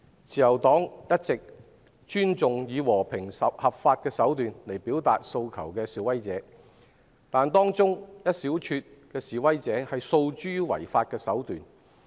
自由黨一直尊重以和平、合法手段表達訴求的示威者，但可惜的是，示威者當中有一小撮訴諸違法手段。